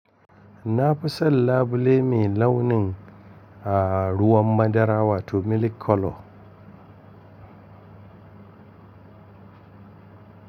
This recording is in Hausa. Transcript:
Na fi son labule mai launin ruwan madarawa wato milik kolo.